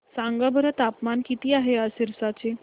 सांगा बरं तापमान किती आहे आज सिरसा चे